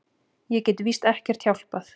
Ég get víst ekkert hjálpað.